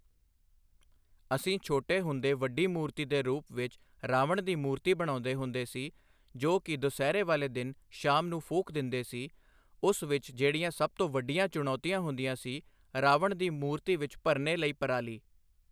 ਅਸੀਂ ਛੋਟੇ ਹੁੰਦੇ ਵੱਡੀ ਮੂਰਤੀ ਦੇ ਰੂਪ ਵਿੱਚ ਰਾਵਣ ਦੀ ਮੂਰਤੀ ਬਣਾਉਂਦੇ ਹੁੰਦੇ ਸੀ ਜੋ ਕਿ ਦੁਸਹਿਰੇ ਵਾਲੇ ਦਿਨ ਸ਼ਾਮ ਨੂੰ ਫੂਕ ਦਿੰਦੇ ਸੀ ਉਸ ਵਿੱਚ ਜਿਹੜੀਆਂ ਸਭ ਤੋਂ ਵੱਡੀਆਂ ਚੁਣੌਤੀਆਂ ਹੁੰਦੀਆਂ ਸੀ ਰਾਵਣ ਦੀ ਮੂਰਤੀ ਵਿੱਚ ਭਰਨੇ ਲਈ ਪਰਾਲੀ।